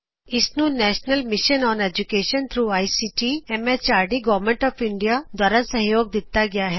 ਇਸ ਨੂੰ national mission on education through ICT MHRD government of India ਦੁਆਰਾ ਸਹਿਯੋਗ ਦਿੱਤਾ ਗਿਆ ਹੈ